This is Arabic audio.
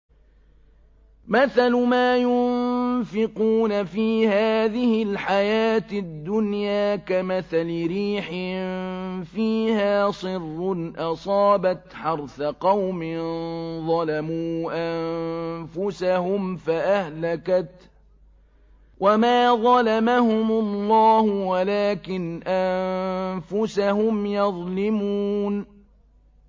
مَثَلُ مَا يُنفِقُونَ فِي هَٰذِهِ الْحَيَاةِ الدُّنْيَا كَمَثَلِ رِيحٍ فِيهَا صِرٌّ أَصَابَتْ حَرْثَ قَوْمٍ ظَلَمُوا أَنفُسَهُمْ فَأَهْلَكَتْهُ ۚ وَمَا ظَلَمَهُمُ اللَّهُ وَلَٰكِنْ أَنفُسَهُمْ يَظْلِمُونَ